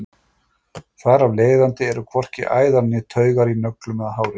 Þar af leiðandi eru hvorki æðar né taugar í nöglum eða hári.